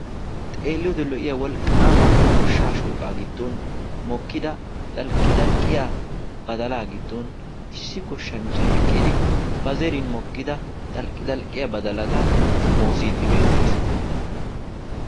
xeelliyoode lo'iyaa wolqaama goshshaa shooqqaa giddon mokkida dalqidalqqiyaa badalaa giddon issi goshanchchay eqqidi ba zerin mokkida dalqidalqqiyaa badalata xomoosiidi beetees.